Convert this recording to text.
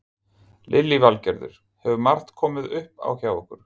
Lillý Valgerður: Hefur margt komið upp á hjá ykkur?